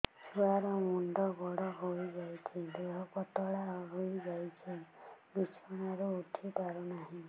ଛୁଆ ର ମୁଣ୍ଡ ବଡ ହୋଇଯାଉଛି ଦେହ ପତଳା ହୋଇଯାଉଛି ବିଛଣାରୁ ଉଠି ପାରୁନାହିଁ